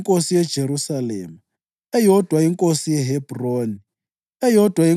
inkosi yeJerusalema, eyodwa inkosi yeHebhroni, eyodwa